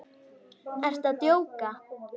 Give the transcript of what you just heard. Ertu að djóka?